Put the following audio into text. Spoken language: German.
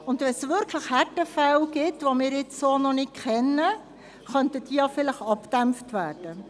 Sollte es tatsächlich Härtefälle geben, die wir noch nicht kennen, könnten sie so möglicherweise abgedämpft werden.